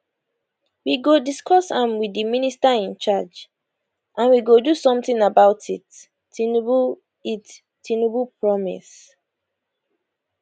we go discuss am wit di minister in charge and we go do something about it tinubu it tinubu promise